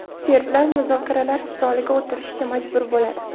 Serblar muzokaralar stoliga o‘tirishga majbur bo‘ladi.